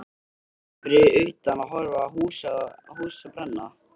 Varstu ekki fyrir utan að horfa á húsið brenna?